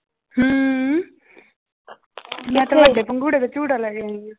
ਹਮ ਮੈਂ ਪੰਘੂੜੇ ਤੇ ਝੂਟਾ ਲੈ ਕੇ ਆਈ ਹਾਂ।